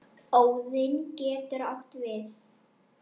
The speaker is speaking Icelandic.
Óðinn getur átt við